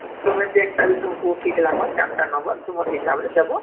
ତୁମେ ଯେନ୍ତା ବି ତୁମକୁ ଠିକ ଲାଗିବାର ୪ଟା number ତୁମର ହିସାବରେ ଦବ